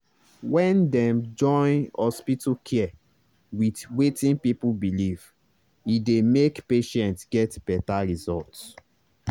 when dem join hospital care with wetin people believe e dey make patients get better result.